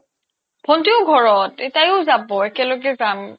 ভন্টিও ঘৰত এ তায়ো যাব একেলগে যাম